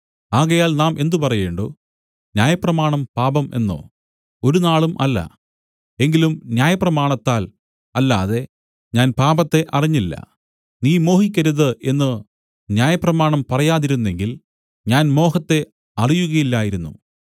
ആകയാൽ നാം എന്ത് പറയേണ്ടു ന്യായപ്രമാണം പാപം എന്നോ ഒരുനാളും അല്ല എങ്കിലും ന്യായപ്രമാണത്താൽ അല്ലാതെ ഞാൻ പാപത്തെ അറിഞ്ഞില്ല നീ മോഹിക്കരുത് എന്നു ന്യായപ്രമാണം പറയാതിരുന്നെങ്കിൽ ഞാൻ മോഹത്തെ അറിയുകയില്ലായിരുന്നു